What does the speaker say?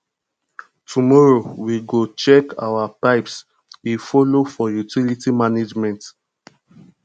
tomorrow we go check our pipes e folo for utilities management